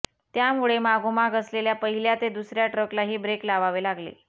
यामुळे मागोमाग असलेल्या पहिल्या ते दुसऱ्या ट्रकलाही ब्रेक लावावे लागले